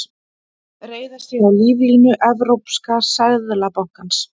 Reiða sig á líflínu Evrópska seðlabankans